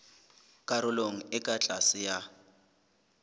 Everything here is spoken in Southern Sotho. karolong e ka tlase ya